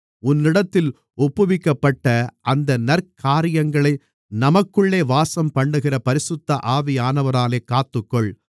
உன்னிடத்தில் ஒப்புவிக்கப்பட்ட அந்த நற்காரியங்களை நமக்குள்ளே வாசம்பண்ணுகிற பரிசுத்த ஆவியானவராலே காத்துக்கொள்